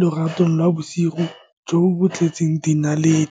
loratong la bosigo jo bo tletseng dinaledi.